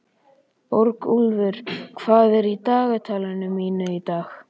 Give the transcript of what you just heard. Borgúlfur, hvað er í dagatalinu mínu í dag?